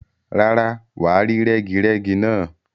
Rárá, wà á rí rẹ́girẹ́gi náà.